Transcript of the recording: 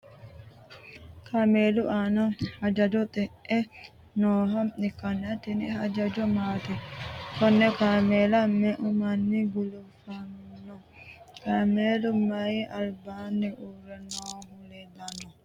Kaameelu aanna hajjajo xe'e nooha ikanna tinni hajjajo maati? konne kaameella me"eu manni gulufanno? Kaameelu mayi albaanni uure noohu leelano?